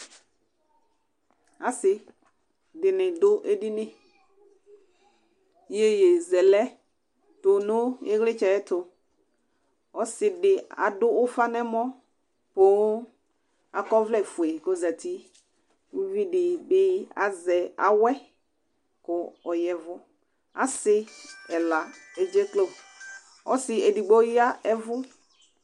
Asɩ dɩnɩ adʋ edini Iyeyezɛlɛ tʋ nʋ ɩɣlɩtsɛ yɛ ɛtʋ Ɔsɩ dɩ adʋ ufa nʋ ɛmɔ, kʋ akɔ ɔvlɛfue kʋ ozǝtɩ, kʋ uvi dɩ bɩ azɛ awɛ kʋ ɔya ɛvʋ Asɩ ɛla edzeklo Ɔsɩ edigbo ɔyavʋ